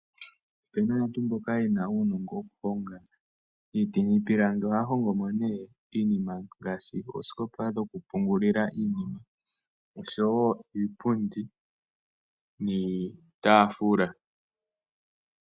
Ope na aantu mboka ye na uunongo woku honga iiti niipilangi. Ohaa hongo mo ne iinima ngaashi oosikopa dhoku pungulila iinima , osho wo iipundi niitaafula .